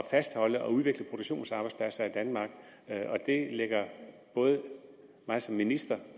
fastholde og udvikle produktionsarbejdspladser i danmark og det ligger både mig som minister